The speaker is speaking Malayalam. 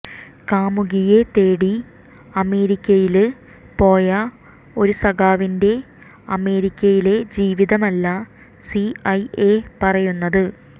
കാമുകിയെ തേടി അമേരിക്കയില് പോയ ഒരു സഖാവിന്റെ അമേരിക്കയിലെ ജീവിതമല്ല സിഐഎ പറയുന്നത്